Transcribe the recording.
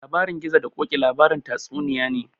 Labarin gizo da koƙi tatsuniya ne